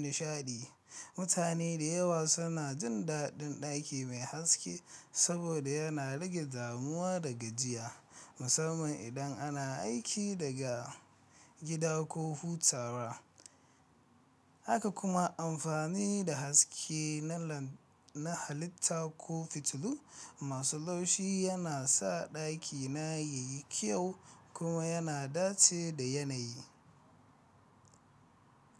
nishaɗi. Mutane da yawa suna jin daɗin ɗaki mai haske saboda yana rage damuwa da gajiya, musamman idan ana aiki daga gida ko hutawa. Haka kuma amfani da haske na halitta ko fitilu masu laushi yana sa ɗakina yayi kyau kuma yana dace da yanayi.